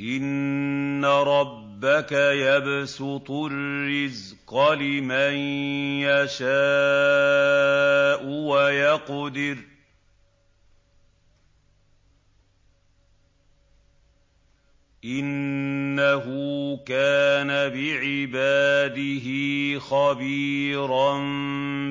إِنَّ رَبَّكَ يَبْسُطُ الرِّزْقَ لِمَن يَشَاءُ وَيَقْدِرُ ۚ إِنَّهُ كَانَ بِعِبَادِهِ خَبِيرًا